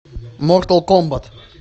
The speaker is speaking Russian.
мортал комбат